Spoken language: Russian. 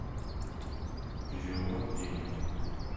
перевод денег